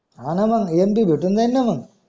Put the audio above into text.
हाना मंग empty भेटून जैन ना मंग